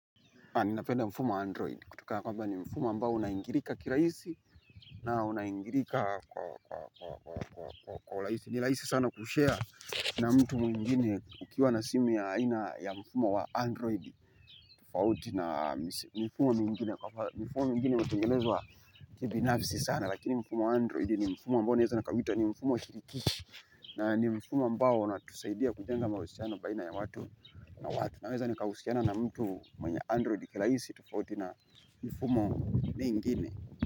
Ni napenda mfumo wa Android. Kutokana kwamba ni mfumo ambao unaingilika kirahisi na unaingirika kwa urahisi. Ni rahisi sana kushare na mtu mwingine ukiwa na simu ya aina ya mfumo wa Android. Tofauti na mifumo mingine kwa mfano. Mifumo mwingine umetengezwa kibinafsi sana. Lakini mfumo wa Android ni mfumo ambao naeza nikauita ni mfumo wa shirikishi. Na ni mfumo ambao unatusaidia kujenga mahusiano baina ya watu na watu. Naweza nikahusiana na mtu mwenye Android kirahisi tofauti na mifumo mengine.